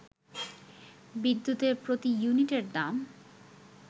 বিদ্যুতের প্রতি ইউনিটের দাম